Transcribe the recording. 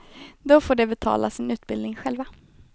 Då får de betala sin utbildning själva.